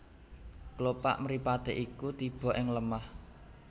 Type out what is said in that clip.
Klopak mripaté iku tiba ing lemah